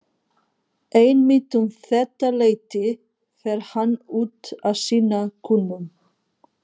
Einmitt um þetta leyti fer hann út að sinna kúnum.